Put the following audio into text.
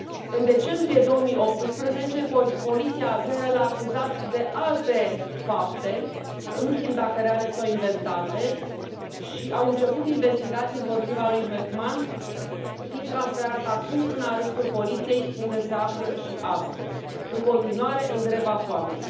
În decembrie 2018, poliția azeră l a acuzat de alte fapte nu știm dacă reale sau inventate și au început investigații împotriva lui Mehman, fiind transferat acum în arestul poliției, unde se află și astăzi, în continuare în greva foamei.